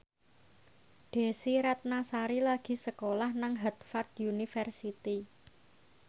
Desy Ratnasari lagi sekolah nang Harvard university